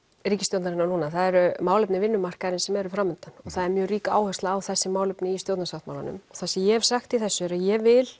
ríkisstjórnarinnar núna það eru málefni vinnumarkaðarins sem eru fram undan og það er mjög rík áhersla á þessi málefni í stjórnarsáttmálanum það sem ég hef sagt í þessu er að ég vil